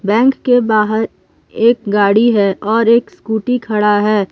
Bank के बाहर एक गाड़ी हैं और एक स्कूटी खड़ा है।